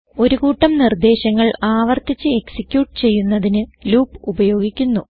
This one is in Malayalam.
ഒരു കൂട്ടം നിർദേശങ്ങൾ ആവർത്തിച്ച് എക്സിക്യൂട്ട് ചെയ്യുന്നതിന് ലൂപ്പ് ഉപയോഗിക്കുന്നു